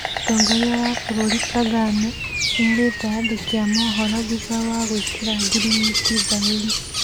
Mũtongoria wa bũrũri Kagame, nĩerĩte andĩki amohoro thutha wa gwĩkĩra ngirimiti thaĩri